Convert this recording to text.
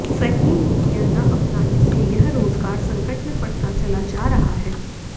सही नीतियां न अपनाने से यह रोजगार संकट में पड़ता चला जा रहा है